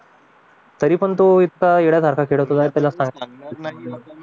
तरी पण तो इतका वेड्यासारखा खेळत राहायचा